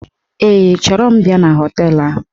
Ee, chọrọ m bịa na họteelụ ahụ